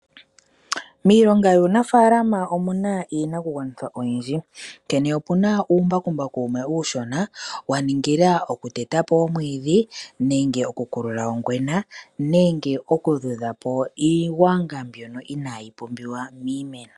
Miilonga yuunafalama omuna iinakugwanithwa oyindji. Onkene opuna uumbakumbaku wumwe uushona wa ningila okuteta po omwiidhi nenge okukulula ongwena, nenge okudhudha po iigwanga mbyono inayi pumbiwa miimeno.